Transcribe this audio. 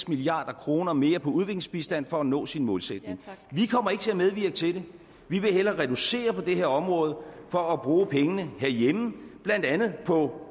milliard kroner mere på udviklingsbistand for at nå sin målsætning vi kommer ikke til at medvirke til det vi vil hellere reducere på det her område for at bruge pengene herhjemme blandt andet på